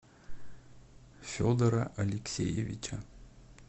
федора алексеевича